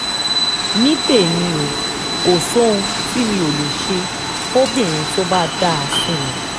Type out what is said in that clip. ní tèmi o kò sóhun tí mi ò lè ṣe fọ́bìnrin tó bá dáa sí mi